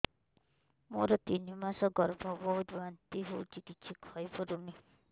ମୋର ତିନି ମାସ ଗର୍ଭ ବହୁତ ବାନ୍ତି ହେଉଛି କିଛି ଖାଇ ପାରୁନି